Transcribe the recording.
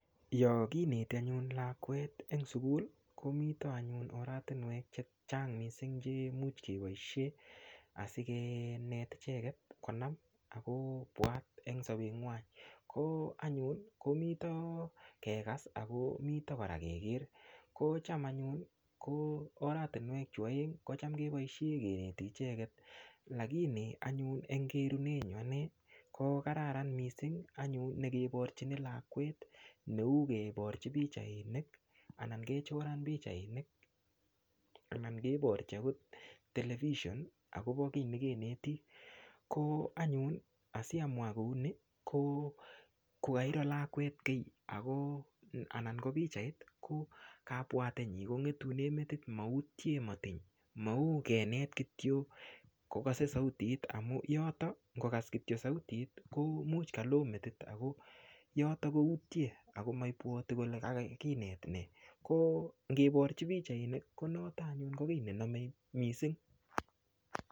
Yo koneti anyun lakwet eng' sukul komito anyun oretinwek chechang' mising' chemuch keboishe asikenet icheket konam akobwat eng' sobenkwai ko anyun komito kekas akomito kora keker kocham anyun oratinwek chu oeng' kocham keboishe keneti icheget lakini anyun eng' kerunenyu ane ko kararan mising' anyun nekeborchini lakwet neu keborchin pichainik anan keborchi akot television akobo kii nekeneti ko anyun asiamwa kouni kokairo lakwet kii anan ko pikchait ko kabwatenyi kong'etune metit moutye matiny mau kenet kityo kokosei sautit amu yoto ngokas kityo sautit much kalo metit ako yoto koutye ako maibwoti kole kakakinet nee ko ngeborchi pichainik ko noto anyun ko kii nenomei mising'